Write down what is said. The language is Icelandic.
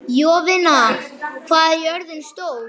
Jovina, hvað er jörðin stór?